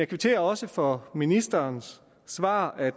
kvitterer også for ministerens svar om at